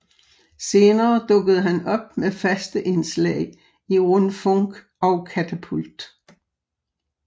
Senere dukkede han op med faste indslag i Rundfunk og Katapult